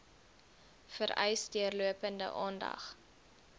vereis deurlopende aandag